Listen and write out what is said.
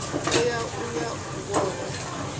tea u ya u vhona